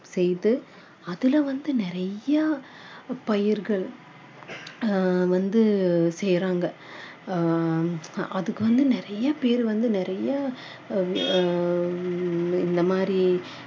செய்து அதுல வந்து நிறைய பயிர்கள் ஆஹ் வந்து செய்றாங்க ஆஹ் அதுக்கு வந்து நிறைய பேரு வந்து நிறைய ஆஹ் இந்த மாதிரி